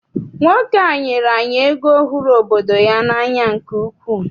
Nwoke a nyere anyị ego hụrụ obodo ya n'anya nke ukwuu.